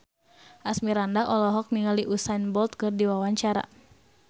Asmirandah olohok ningali Usain Bolt keur diwawancara